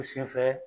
U sen fɛ